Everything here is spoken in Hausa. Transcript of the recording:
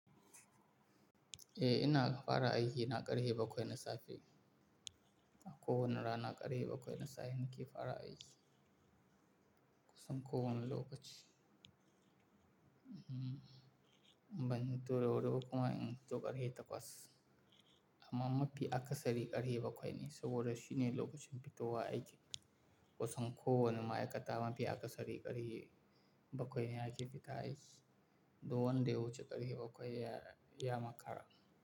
Eh ina fara aiki na ƙarfe bakwai na safe. A ko wane rana na ƙarfe bakwai na safe nake fara aiki. Kosan ko wane lokaci. Ban futo da wuri ba kuma in fito ƙare takwas. Amma mafi akasari ƙare bakwai ne saboda shine lokacin fitowa aiki. Kosan ko wane ma'aikata mafi akasari ƙarfe bakwai ne ake fita aiki. Don dai wuce ƙarfe bakwai ya makara.